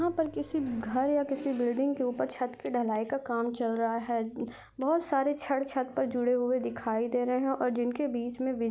यहाँ पर किसी घर या किसी बिल्डिंग के ऊपर छत की ढलाई का काम चल रहा है अ बहुत सारे छड़ छत पर जुड़े हुए दिखाई दे रहे हैं और जिनके बीच में बिज--